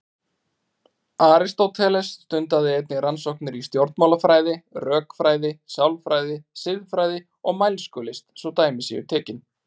Aristóteles stundaði einnig rannsóknir í stjórnmálafræði, rökfræði, sálfræði, siðfræði og mælskulist svo dæmi séu tekin.